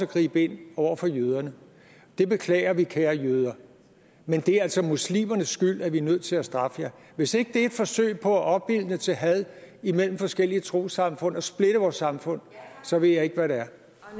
gribe ind over for jøderne det beklager vi kære jøder men det er altså muslimernes skyld at vi er nødt til at straffe jer hvis ikke det er et forsøg på at opildne til had imellem forskellige trossamfund og splitte vores samfund så ved jeg ikke hvad det er